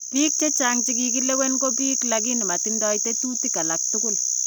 Biik chechang chekikilewen ko biik - lakini matindoo tetuutik alak tukul